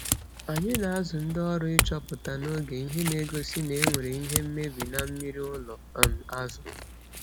Anyi na azụ ndi ọrụ ichọpụta n'oge ihe na egosi na enwere ihe mmebi na mmiri ụlọ um azu